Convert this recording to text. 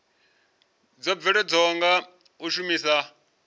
dzo bveledzwaho nga u shumiswa